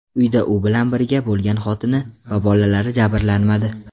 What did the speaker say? Uyda u bilan birga bo‘lgan xotini va bolalari jabrlanmadi.